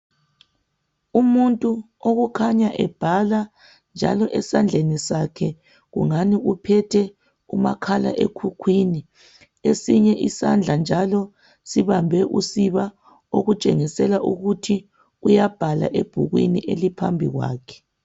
Umuntu okukhanya ebhala njalo esandleni sakhe ungani uphethe umakhala ekhukwini kwesinye isandla njalo sibambe usiba okutshengisela ukuthi uyabhala ebhukwini eliphambi kwakhe